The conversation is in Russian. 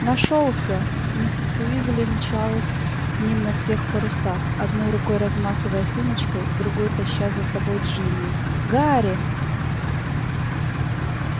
нашёлся миссис уизли мчалась к ним на всех парусах одной рукой размахивая сумочкой другой таща за собой джинни гарри